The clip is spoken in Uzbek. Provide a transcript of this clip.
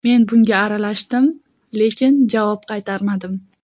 Men bunga aralashdim, lekin javob qaytarmadim.